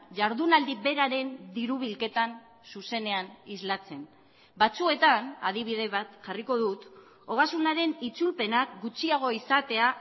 jardunaldi beraren diru bilketan zuzenean islatzen batzuetan adibide bat jarriko dut ogasunaren itzulpenak gutxiago izatea